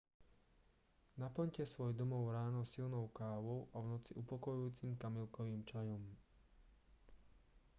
naplňte svoj domov ráno silnou kávou a v noci upokojujúcim kamilkovým čajom